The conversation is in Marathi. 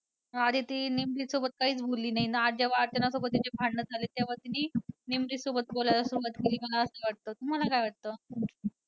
आधी ती निमरीतसोबत काहीच बोलली नाही आज जेव्हा अर्चना सोबत तिची भांडणं झालीत तेव्हा तिने निमरीत सोबत बोलायला सुरवात केली मला असं वाटतं. तुम्हाला काय वाटतं?